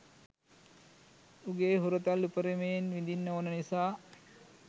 උගේ හුරතල් උපරිමයෙන් විඳින්න ඕන නිසා